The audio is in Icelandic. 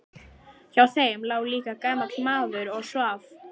Hjá þeim lá líka gamall maður og svaf.